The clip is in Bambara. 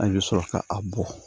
An bɛ sɔrɔ ka a bɔn